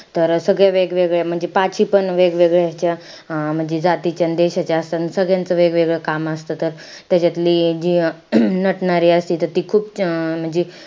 तर सगळे वेगवेगळे म्हणजे पाची पण वेगवेगळे अं म्हणजे जातीचे अन देशाचे असतात. अन सगळ्यांचं वेगळं काम असतं. त त्याच्यातली जी नटणारी असती त ती खूप म्हणजे,